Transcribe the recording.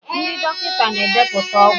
ndị dọkịta na-edepụta ọgwụ.